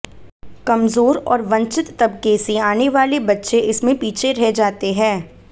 कमजोर और वंचित तबके से आने वाले बच्चे इसमें पीछे रह जाते हैं